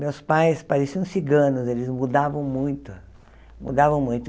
Meus pais pareciam ciganos, eles mudavam muito, mudavam muito.